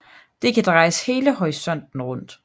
Det kan drejes hele horisonten rundt